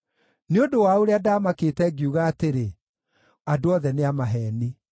Nĩ ũndũ wa ũrĩa ndamakĩte, ngiuga atĩrĩ, “Andũ othe nĩ a maheeni.”